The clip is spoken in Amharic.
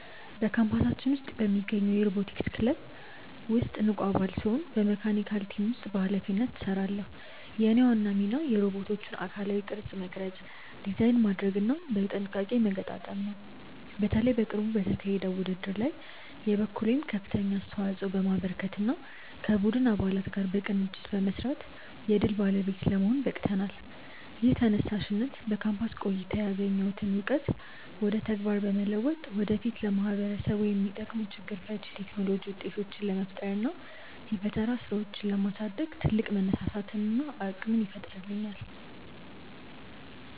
በካምፓሳችን ውስጥ በሚገኘው የሮቦቲክስ ክለብ ውስጥ ንቁ አባል ስሆን በመካኒካል ቲም ውስጥ በኃላፊነት እሰራለሁ። የእኔ ዋና ሚና የሮቦቶቹን አካላዊ ቅርጽ መቅረጽ፣ ዲዛይን ማድረግና በጥንቃቄ መገጣጠም ነው። በተለይ በቅርቡ በተካሄደው ውድድር ላይ የበኩሌን ከፍተኛ አስተዋጽኦ በማበርከትና ከቡድን አባላት ጋር በቅንጅት በመስራት የድል ባለቤት ለመሆን በቅተናል። ይህ ተነሳሽነት በካምፓስ ቆይታዬ ያገኘሁትን እውቀት ወደ ተግባር በመለወጥ ወደፊት ለማህበረሰቡ የሚጠቅሙ ችግር ፈቺ የቴክኖሎጂ ውጤቶችን ለመፍጠርና የፈጠራ ስራዎችን ለማሳደግ ትልቅ መነሳሳትንና አቅምን ይፈጥርልኛል።